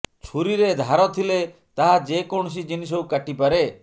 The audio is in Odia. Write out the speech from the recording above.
ଛୁରୀରେ ଧାର ଥିଲେ ତାହା ଯେକୌଣସି ଜିନିଷକୁ କାଟି ପାରେ